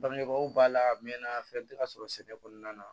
Bangebaaw b'a la a mɛn na fɛn tɛ ka sɔrɔ sɛnɛ kɔnɔna na